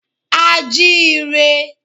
A jí i re.